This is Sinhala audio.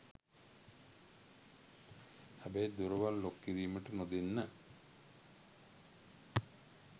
හැබැයි දොරවල් ලොක් කිරීමට නොදෙන්න.